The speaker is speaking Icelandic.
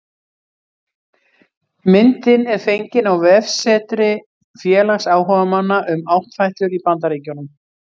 Myndin er fengin á vefsetri félags áhugamanna um áttfætlur í Bandaríkjunum